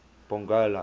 pongola